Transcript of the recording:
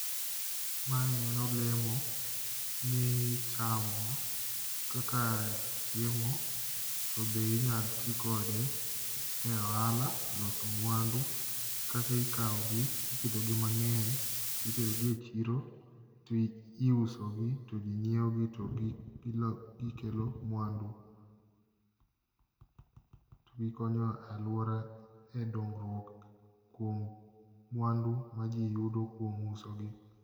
Mae en olemo mi ichamo kaka chiemo to be inyal ti kode e ohala, eloso mwandu, kaka ikawogi ipidhogi mang'eny. Titerogi e chiro to iusogi to ji nyiewogi to gikelo mwandu. Togikonyo alwora e dongruok kuom mwandu ma ji yudo kuom uso gi.